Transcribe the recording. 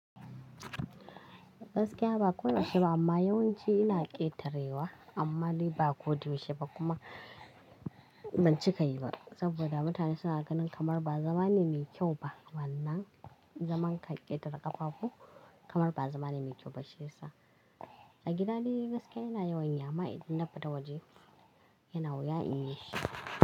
Gaskiya ba koyaushe ba, amma yawanci ina ƙetarewa amma dai ba koda yaushe ba kuma ban cika yi ba. Saboda mutane suna ganin kamar ba zama ne mai kyau ba. Wannan zaman ka ƙetare ƙafafu kamar ba zama ne mai kyau ba shi yasa A gida dai gaskiya ina yawan yi amma idan na fita waje ina wuya in yi shi.